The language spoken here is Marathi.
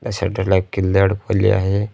शटर ला एक किल्ली अडकवली आहे.